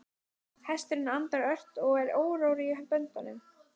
Hesturinn andar ört og er órór í böndum.